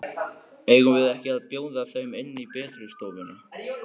Eigum við ekki að bjóða þeim inn í betri stofuna?